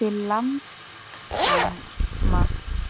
til langframa.